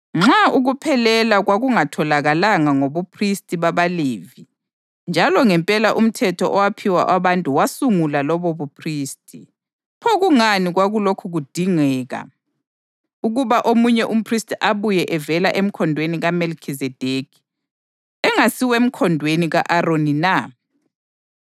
Nxa ukuphelela kwakungatholakala ngobuphristi babaLevi njalo ngempela umthetho owaphiwa abantu wasungula lobobuphristi, pho kungani kwakulokhu kudingeka ukuba omunye umphristi abuye evela emkhondweni kaMelikhizedekhi, engasiwemkhondweni ka-Aroni na?